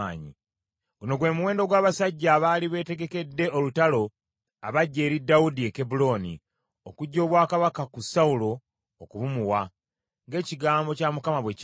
Guno gwe muwendo gw’abasajja abaali beetegekedde olutalo abajja eri Dawudi e Kebbulooni, okuggya obwakabaka ku Sawulo okubumuwa, ng’ekigambo kya Mukama bwe kyali: